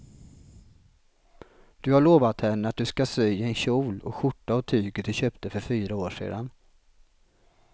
Du har lovat henne att du ska sy en kjol och skjorta av tyget du köpte för fyra år sedan.